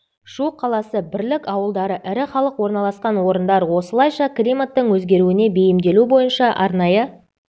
шу қаласы бірлік ауылдары ірі халық орналасқан орындар осылайша климаттың өзгеруіне бейімделу бойынша арнайы